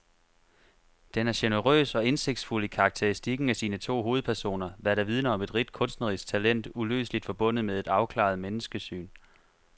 Den er generøs og indsigtsfuld i karakteristikken af sine to hovedpersoner, hvad der vidner om et rigt kunstnerisk talent uløseligt forbundet med et afklaret menneskesyn.